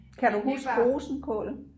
Kan du huske rosenkål